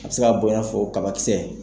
A bi se ka bɔ i n'a fɔ kabakisɛ.